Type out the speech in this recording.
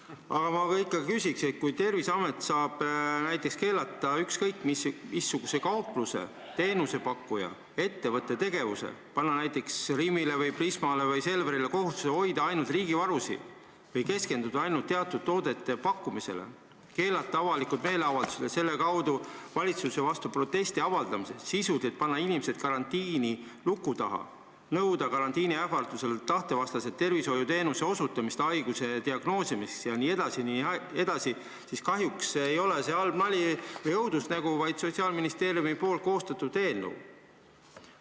Aga ma küsin selle kohta, et kui Terviseamet saab näiteks keelata ükskõik missuguse kaupluse, teenusepakkuja või muu ettevõtte tegevuse, panna näiteks Rimile, Prismale või Selverile kohustuse hoida ainult riigivarusid või keskenduda ainult teatud toodete pakkumisele, keelata avalikud meeleavaldused ja selle kaudu valitsuse vastu protestimise, panna inimesed karantiini n-ö luku taha, nõuda karantiini ähvardusel tahtevastast tervishoiuteenuse osutamist haiguse diagnoosimiseks jne, siis kahjuks ei ole see halb nali ega õudusunenägu, vaid seda võimaldab Sotsiaalministeeriumi koostatud eelnõu.